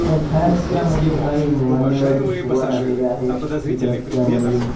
या छायाचित्रामधील काही मान्यवर उभा टाकलेले आहेत एक रस्त्यावरील --